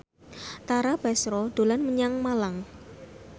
Tara Basro dolan menyang Malang